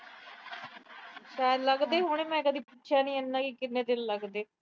ਲੱਗਦੇ ਹੋਣੇ। ਮੈਂ ਕਦੇ ਪੁੱਛਿਆ ਨੀ ਕਿੰਨੇ ਦਿਨ ਲੱਗਦੇ।